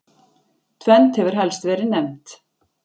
tvennt hefur helst verið nefnt